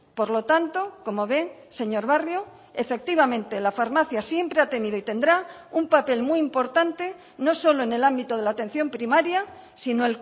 por lo tanto como ve señor barrio efectivamente la farmacia siempre ha tenido y tendrá un papel muy importante no solo en el ámbito de la atención primaria sino